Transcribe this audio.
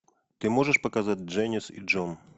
ты можешь показать дженис и джон